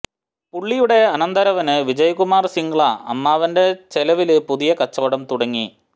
പുള്ളിയുടെ അനന്തരവന് വിജയ്കുമാര് സിംഗ്ല അമ്മാവന്റെ ചെലവില് പുതിയ കച്ചവടം തുടങ്ങി